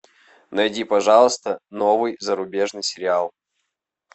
найди пожалуйста новый зарубежный сериал